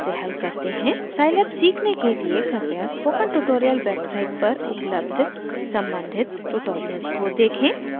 scilab सीखने के लिए कृपया स्पोकन ट्यूटोरियल वेबसाइट पर उपलब्ध सम्बंधित ट्यूटोरियल्स को देखें